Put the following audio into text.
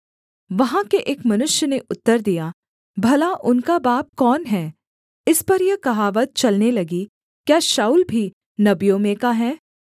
वहाँ के एक मनुष्य ने उत्तर दिया भला उनका बाप कौन है इस पर यह कहावत चलने लगी क्या शाऊल भी नबियों में का है